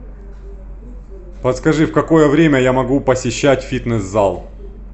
подскажи в какое время я могу посещать фитнес зал